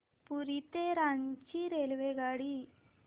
पुरी ते रांची रेल्वेगाड्या